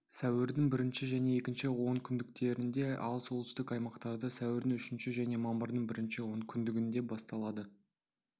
сәуірдің бірінші және екінші онкүндіктерінде ал солтүстік аймақтарда сәуірдің үшінші және мамырдың бірінші онкүндігінде басталады